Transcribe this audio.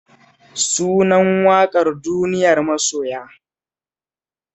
Sunan waƙar "duniyar masoya"